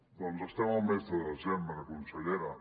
doncs estem al mes de desembre consellera